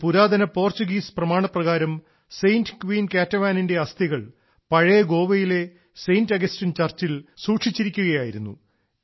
ഒരു പുരാതന പോർച്ചുഗീസ് പ്രമാണപ്രകാരം സെന്റ് ക്വീൻ കാറ്റവാനിന്റെ അസ്ഥികൾ പഴയ ഗോവയിലെ സെന്റ് അഗസ്റ്റിൻ ചർച്ചിൽ സൂക്ഷിക്കുകയായിരുന്നു